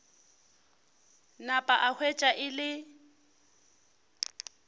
napa a hwetša e le